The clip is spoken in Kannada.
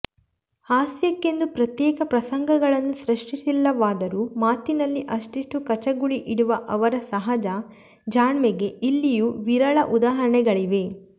ಹಾಸ್ಯಕ್ಕೆಂದು ಪ್ರತ್ಯೇಕ ಪ್ರಸಂಗಗಳನ್ನು ಸೃಷ್ಟಿಸಿಲ್ಲವಾದರೂ ಮಾತಿನಲ್ಲೇ ಅಷ್ಟಿಷ್ಟು ಕಚಗುಳಿ ಇಡುವ ಅವರ ಸಹಜ ಜಾಣ್ಮೆಗೆ ಇಲ್ಲಿಯೂ ವಿರಳ ಉದಾಹರಣೆಗಳಿವೆ